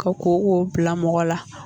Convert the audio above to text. Ka kooko bila mɔgɔ la